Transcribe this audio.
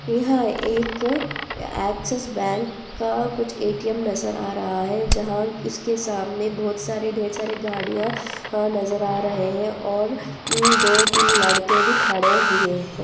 यह एक Axis bank का कुछ ए_टी_एम नजर आ रहा है जहाँ इसके सामने बहुत सारे ढ़ेर सारे गाड़िया वहां नजर आ रहे है और दो तीन लड़के नजर भी खड़े हुए है।